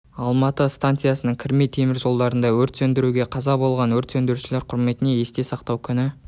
алматы станциясының кірме темір жолдарында өрт сөндіруде қаза болған өрт сөндірушілер құрметіне есте сақтау күні